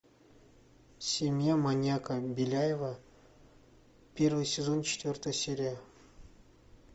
семья маньяка беляева первый сезон четвертая серия